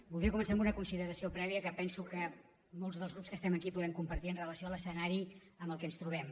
voldria començar amb una consideració prèvia que penso que molts dels grups que estem aquí podem compartir en relació amb l’escenari amb què ens trobem